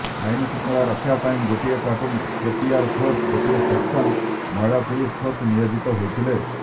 ଆଇନଶୃଙ୍ଖଳା ରକ୍ଷା ପାଇଁ ଗୋଟିଏ ପ୍ଲାଟୁନ୍ ଏପିଆର ଫୋର୍ସ ଗୋଟିଏ ସେକ୍ସନ ମହିଳା ପୁଲିସ ଫୋର୍ସ ନିୟୋଜିତ ହୋଇଥିଲେ